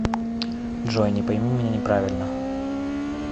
джой не пойми меня неправильно